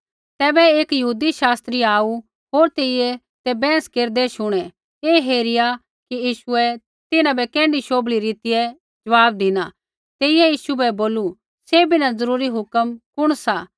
तैबै एक यहूदी शास्त्री आऊ होर तेइयै ते बैंहस केरदै शुणै ऐ हेरिया कि यीशुऐ तिन्हां बै कैण्ढै शोभली रीतियै ज़वाब धिना तेइयै यीशु बै बोलू सैभी न ज़रूरी हुक्म कुण सा